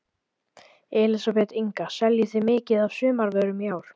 Elísabet Inga: Seljið þið mikið af sumarvörum í ár?